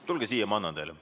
Tulge siia, ma annan teile.